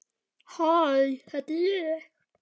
Skál fyrir þér!